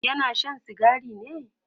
yana Shan sigari ne?